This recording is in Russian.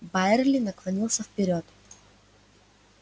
байерли наклонился вперёд